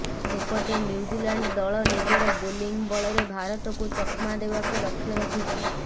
ସେପଟେ ନ୍ୟୁଜିଲାଣ୍ଡ ଦଳ ନିଜର ବୋଲିଂ ବଳରେ ଭାରତକୁ ଚକମା ଦେବାକୁ ଲକ୍ଷ୍ୟ ରଖିଛି